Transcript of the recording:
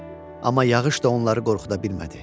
Amma yağış da onları qorxuda bilmədi.